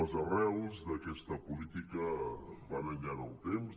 les arrels d’aquesta política van enllà en el temps